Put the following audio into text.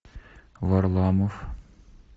варламов